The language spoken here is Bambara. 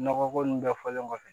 Nɔgɔ ko nunnu bɛɛ fɔlen kɔfɛ